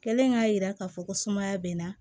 Kɛlen k'a yira k'a fɔ ko sumaya bɛ n na